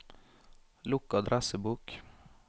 lukk adressebok